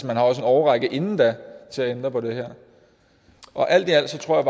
man har også en årrække inden da til at ændre på det her alt i alt tror